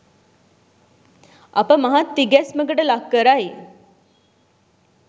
අප මහත් තිගැස්මකට ලක් කරයි